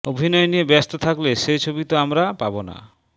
অভিনয় নিয়ে ব্যস্ত থাকলে সে ছবি তো আমরা পাবো না